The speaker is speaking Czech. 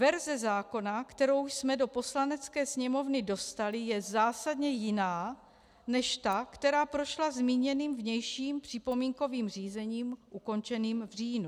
Verze zákona, kterou jsme do Poslanecké sněmovny dostali, je zásadně jiná než ta, která prošla zmíněným vnějším připomínkovým řízením ukončeným v říjnu.